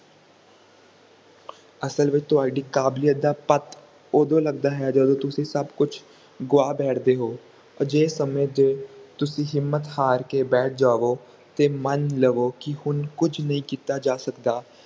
ਅਸਲ ਵਿਚ ਤੁਹਾਡੀ ਕਾਬਿਲਿਯਤ ਦਾ ਪੱਟ ਓਦੋ ਲਗਦਾ ਹੈ ਜਦੋ ਤੁਸੀਂ ਸਭ ਕੁਛ ਗਵਾ ਬੈਠਦੇ ਹੋ ਅਜਿਹੇ ਸਮੇ ਤੇ ਤੁਸੀਂ ਹਿੰਮਤ ਹਰ ਕੇ ਬੈਠ ਜਾਵੋ ਤੇ ਮਾਨ ਲਵੋ ਕਿ ਹੁਣ ਕੁਛ ਨਹੀਂ ਕੀਤਾ ਜਾ ਸਕਦਾ